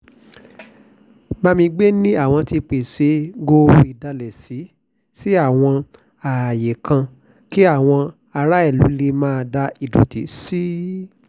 bámígbé ni àwọn ti pèsè gooro ìdálẹ́sí sáwọn ààyè kan kí àwọn aráàlú lè máa da ìdọ̀tí sí i